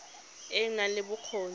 e e nang le bokgoni